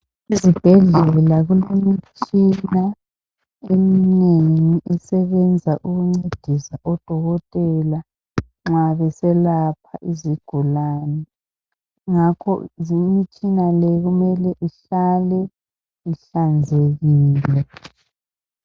Ezibhedlela kulemitshina eminengi esebenza ukuncedisa odokotela nxa beselapha izigulane ngakho imitshina le kumele ihlale ihlanzekile.